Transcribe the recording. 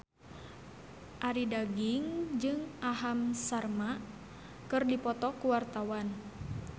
Arie Daginks jeung Aham Sharma keur dipoto ku wartawan